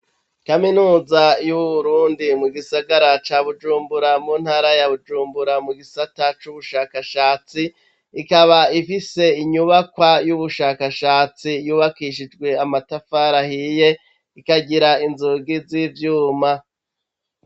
Kaminuza yu Burundi mu Gisagara ca Bujumbura muntara ya Bujumbura mu Gisata cubushakashatsi, ikaba ifise inyubakwa y'ubushakashatsi yubakishijwe amatafari ahiye ikagira inzugi zivyuma.